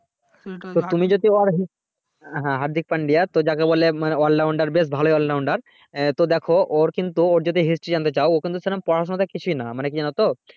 তো তুমি যদি ওর হ্যাঁহার্দিক পাণ্ডে যাকে বলে all rounder বেশ ভালোই all rounder এ দেখো ওর কিন্তু ওর যদি history জানতে চাও ও কিন্তু পড়াশোনা তে কিছুই না মানে কি জানো তো